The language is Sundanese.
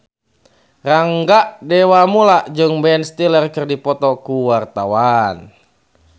Rangga Dewamoela jeung Ben Stiller keur dipoto ku wartawan